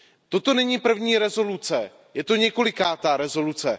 Toto není první rezoluce, je to několikátá rezoluce.